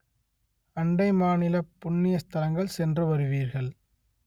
அண்டை மாநிலப் புண்ணிய ஸ்தலங்கள் சென்று வருவீர்கள்